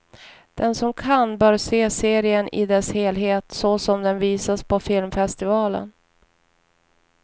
Den som kan bör se serien i dess helhet, såsom den visas på filmfestivalen.